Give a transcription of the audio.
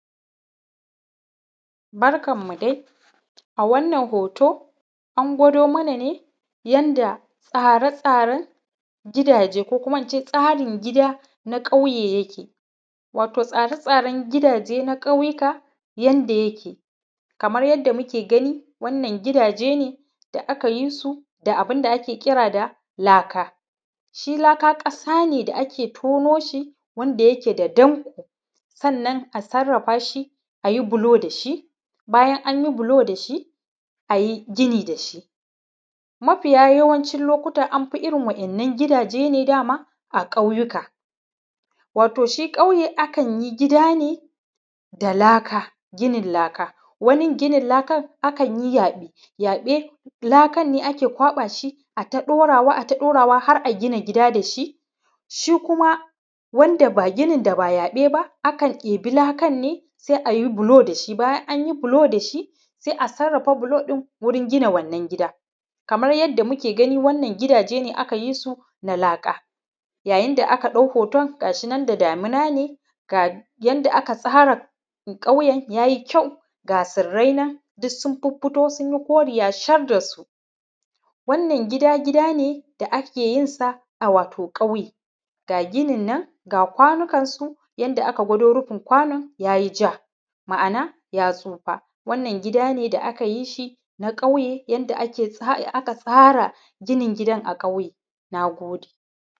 Barkanmu dai, a wannan hoto an gwado mana ne yadda tsaren-tsaren gidaje ko kuma ince tsarin gida na ƙauye yake wato tsare-tsaren gidaje na ƙauyuka yadda yake kamar yadda muke gani wannan gidaje ne da aka yi su da abun da ake kira da laka, shi laka kasa ne da ake tono shi wanda yake da ɗanko sannan a sarafa shi ayi bulo da shi, bayan an yi bulo da shi ayi gini da shi, mafiya yawancin lokuta am fi irin wannan gidaje dama a ƙauyuka wato shi ƙauye akan yi gida ne da laka ginin laka wannan ginin laka akan yi yaɓe, yaɓe lakan ne ake ƙwaɓa shi ata ɗorawa ata ɗorawa har a gina gida da shi, shi kuma wanda gini da ba yaɓe ba akan ɗebi lakan sai ayi bulo da shi bayan an yi bulo da shi, sai a sarafa bulon wurin gina wannan gida, kamar yadda muke gani wannan gidaje aka yi sun a laka yayin da aka ɗau hoton gashi nan da damuna ne ga yadda aka tsara ƙauyan ya yi kyau ga tsirai nan duk sun fito su yi ƙoriya shar da su, wannan gida gida ne da ake yin sa a wato ƙauye, ga ginin nan ga kwanukansu yadda aka gwado rufin kwanon ya yi ja, ma’ana ya tsufa, wannan gida ne da aka yi shi na ƙauye yadda aka tsara ginin gidan a ƙauye, na gode.